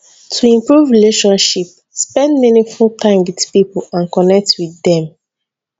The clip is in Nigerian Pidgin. to improve relationship spend meaningful time with pipo and connect with dem